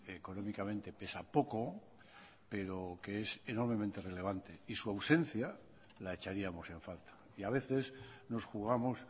económicamente pesa poco pero que es enormemente relevante y su ausencia la echaríamos en falta y a veces nos jugamos